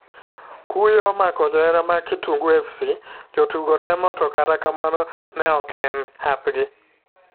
Kuyo omako johera mag kitungu fc,jotugo temo to kata kamano ne ok en hapgi.